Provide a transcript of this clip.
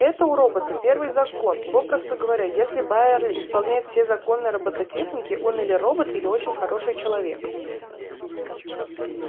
это у робота первый закон попросту говоря если байерли исполняет все законы роботехники он или робот или очень хороший человек